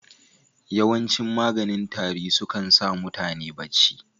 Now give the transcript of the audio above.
Yawancin maganin tari su kan sa mutane bacci.